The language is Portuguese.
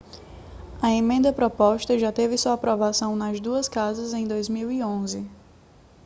a emenda proposta já teve sua aprovação nas duas casas em 2011